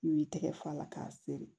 I b'i tɛgɛ fa a la k'a seri